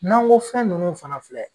N'an ko fɛn ninnu fana filɛ